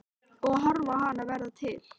Og horfa á hana verða til.